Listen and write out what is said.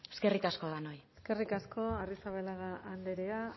eskerrik asko denoi eskerrik asko arrizabalaga andrea